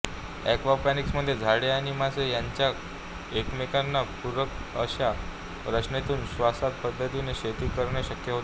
एक्वापाॅनिक्समध्ये झाडे आणि मासे ह्यांच्या एकमेकांना पूरक अश्या रचनेतून शाश्वत पद्धतीने शेती करणे शक्य होते